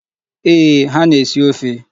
Eeh, ha na-esi ofe.